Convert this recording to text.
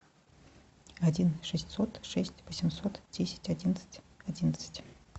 один шестьсот шесть восемьсот десять одиннадцать одиннадцать